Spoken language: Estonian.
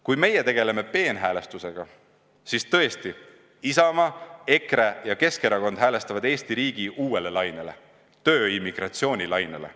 Kui meie tegeleme peenhäälestusega, siis tõesti, Isamaa, EKRE ja Keskerakond häälestavad Eesti riigi uuele lainele – tööimmigratsiooni lainele.